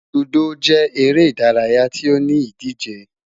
Ludo jẹ ere idaraya ti o ni idije